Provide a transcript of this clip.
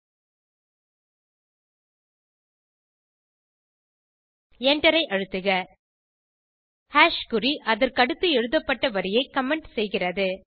enter ஐ அழுத்துக குறி அதற்கடுத்து எழுதப்பட்ட வரியை கமெண்ட் செய்கிறது